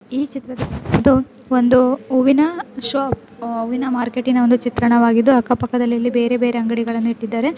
ಈ ಚಿತ್ರದಲ್ಲಿ ಇದು ಒಂದು ಹೂವಿನ ಶಾಪ್ ಹೂವಿನ ಮಾರ್ಕೆಟಿನ ಒಂದು ಚಿತ್ರಣವಾಗಿದ್ದು ಅಕ್ಕ ಪಕ್ಕದಲ್ಲಿಇಲ್ಲಿ ಬೇರೆ ಬೇರೆ ಅಂಗಡಿಗಳನ್ನು ಇಟ್ಟಿದ್ದಾರೆ.